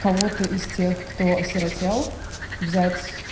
кого-то из тех кто осиротел взять